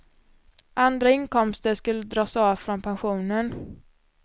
Andra inkomster skulle dras av från pensionen.